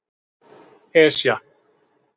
Esja